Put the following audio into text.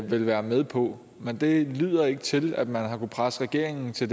ville være med på men det lyder ikke til at man har kunnet presse regeringen til